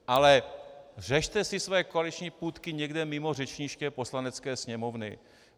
Ale řešte si své koaliční půtky někde mimo řečniště Poslanecké sněmovny.